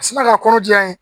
A sina ka kɔnɔ diya ye